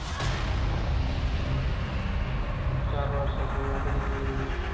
चार वर्षाची झाली